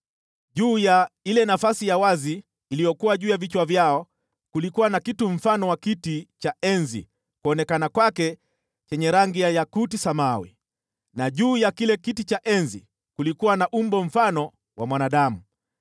Juu ya ile nafasi ya wazi iliyokuwa juu ya vichwa vyao kulikuwa na kitu mfano wa kiti cha enzi cha yakuti samawi. Na juu ya kile kiti cha enzi kulikuwa na umbo mfano wa mwanadamu.